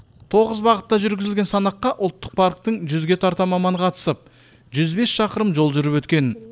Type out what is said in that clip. тоғыз бағытта жүргізілген санаққа ұлттық парктің жүзге тарта маманы қатысып жүз бес шақырым жол жүріп өткен